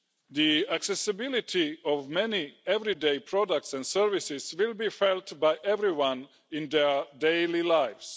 The accessibility of many everyday products and services will be felt by everyone in their daily lives.